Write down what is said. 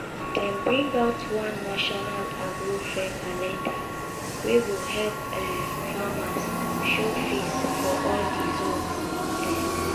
dem bring out one national agro fair calendar wey go help um farmers show face for all di zones. um